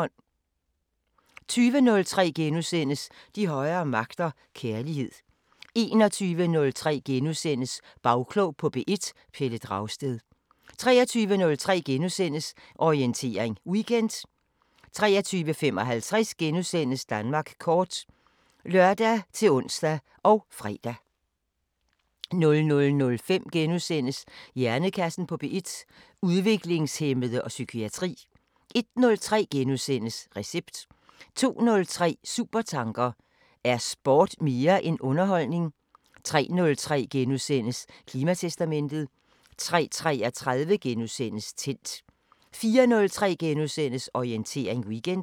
20:03: De højere magter: Kærlighed * 21:03: Bagklog på P1: Pelle Dragsted * 23:03: Orientering Weekend * 23:55: Danmark kort *(lør-ons og fre) 00:05: Hjernekassen på P1: Udviklingshæmmede og psykiatri * 01:03: Recept * 02:03: Supertanker: Er sport mere end underholdning? 03:03: Klimatestamentet * 03:33: Tændt * 04:03: Orientering Weekend *